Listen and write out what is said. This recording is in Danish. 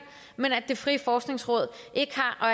men at det frie forskningsråd ikke har